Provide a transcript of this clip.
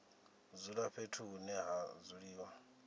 dzula fhethu hune ha dzuliwa